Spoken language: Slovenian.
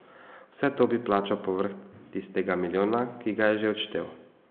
Vse to bi plačal povrh tistega milijona, ki ga je že odštel.